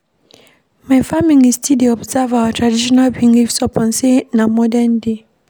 My family still dey observe our traditional beliefs upon sey na modern-day.